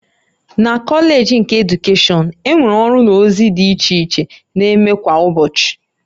Na Kọleeji nke Edukeshọn, e nwere ọrụ na ozi dị iche iche na-eme kwa ụbọchị